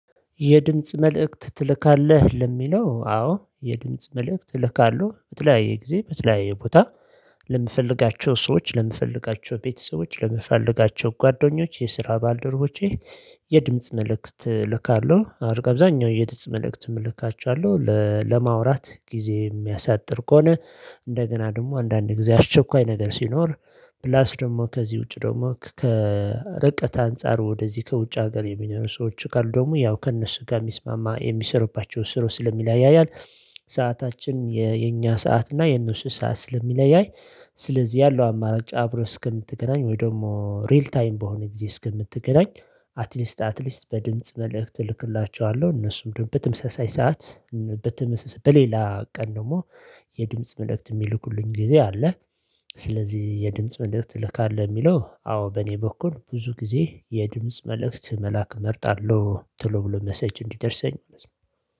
የድምጽ መልእክት ትልካለህ ለሚለው አዎ የድምጽ መልእክት እልካለው በተለያየ ጊዜ በተለያየ ቦታ ለምፈልጋቸው ሰዎች ለምፈልጋቸው ቤተሰቦች ለምፈልጋቸው ጓደኞች የስራ ባልደረቦቼ የድምጽ መልእክት ልካለሁ አብዛኛው የድምጽ መልእክት ምልካቸው ያለው ለማውራት ጊዜ የሚያሳጥር ከሆነ እንደገና ደግሞ አንዳንድ ጊዜ አስቸኳይ ነገር ሲኖር ፕላስ ደግሞ ከዚህ ውጪ ደግሞ ከርቀት አንፃር ወደዚህ ከውጭ ሀገር የሚኖርው ሰዎች ካሉ ደግሞ ያው ከእነሱ ጋር የሚስማማ የሚሰሩባቸው ስሩ ስለሚለያያል። ሰዓታችን የኛ ሰዓት እና የነሱ ሰዓት ስለሚለያይ። ስለዚህ ያለው አማራጭ አብረህ እስከምትገናኝ ወይ ደግሞ ሪል ታይም በሆነ ጊዜ እስከምትገናኝ አትሊስት አትሊስት በድምጽ መልእክት እልክላችኋለሁ እነሱም ደግሞ በትምሰሳይ ሰዓት በትምሰሰ በሌላ ቀን ደግሞ የድምጽ መልእክት የሚልኩልኝ ጊዜ አለ። ስለዚህ የድምጽ መልእክት ትልካለህ የሚለው አዎ በእኔ በኩል ብዙ ጊዜ የድምጽ መልእክት መልካ እመርጣለሁ ትሎ ብሎ መሰጅ እንዲደርሰኝ መሰለኝ